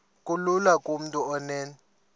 kulula kumntu onen